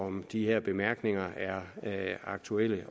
om de her bemærkninger er aktuelle